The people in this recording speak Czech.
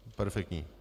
Perfektní.